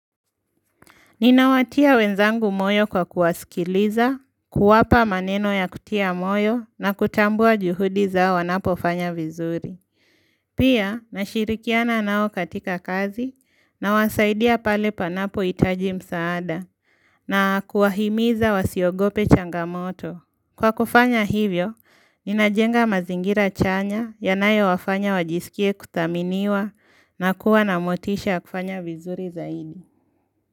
Ninawatia wenzangu moyo kwa kuwasikiliza, kuwapa maneno ya kutia moyo na kutambua juhudi zao wanapofanya vizuri. Pia, nashirikiana nao katika kazi nawasaidia pale panapohitaji msaada na kuwahimiza wasiogope changamoto. Kwa kufanya hivyo, ninajenga mazingira chanya yanayowafanya wajisikie kuthaminiwa na kuwa na motisha ya kufanya vizuri zaidi.